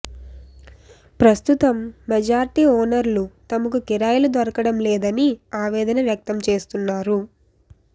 ప్రస్తుతం మెజార్టీ ఓనర్లు తమకు కిరాయిలు దొరకడం లేదని ఆవేదన వ్యక్తం చేస్తున్నారు